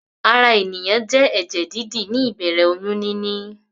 Ara ènìyàn jẹ́ ẹ̀jẹ̀-dídì ní ìbẹ̀rẹ̀ oyún níní.